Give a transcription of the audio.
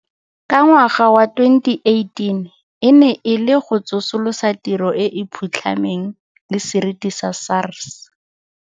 Ka ngwaga wa 2018 e ne e le go tsosolosa tiro e e phutlhameng le seriti sa SARS.